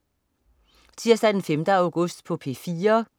Tirsdag den 5. august - P4: